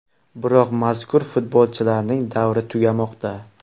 Biroq mazkur futbolchilarning davri tugamoqda.